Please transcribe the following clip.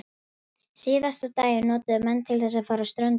Síðasta daginn notuðu menn til þess að fara á ströndina.